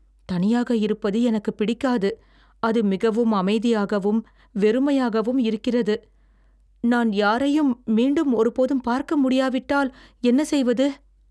தனியாக இருப்பது எனக்குப் பிடிக்காது, அது மிகவும் அமைதியாகவும் வெறுமையாகவும் இருக்கிறது. நான் யாரையும் மீண்டும் ஒருபோதும் பார்க்கமுடியாவிட்டால் என்ன செய்வது?